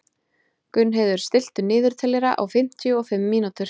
Gunnheiður, stilltu niðurteljara á fimmtíu og fimm mínútur.